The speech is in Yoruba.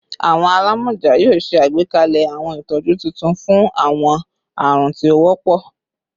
Awọn alamọja yoo ṣe agbekalẹ awọn itọju tuntun fun awọn arun ti o wọpọ